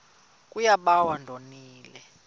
kuye bawo ndonile